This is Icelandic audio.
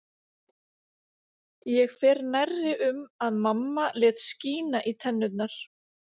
Ég fer nærri um að mamma lét skína í tennurnar